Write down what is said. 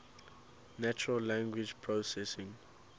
natural language processing